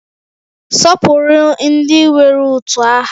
Sọpụrụ ndị nwere utu aha